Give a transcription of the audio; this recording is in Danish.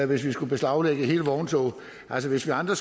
hvis vi skulle beslaglægge hele vogntoget altså hvis vi andre